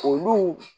Olu